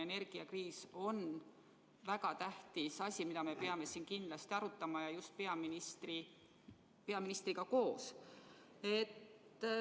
Energiakriis on väga tähtis asi, mida me peame kindlasti arutama ja just peaministriga koos.